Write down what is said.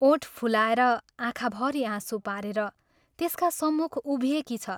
ओठ फुलाएर, आँखाभरि आँसु पारेर त्यसका सम्मुख उभिएकी छ।